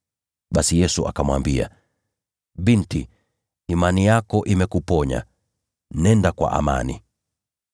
Basi Yesu akamwambia, “Binti, imani yako imekuponya. Nenda kwa amani.”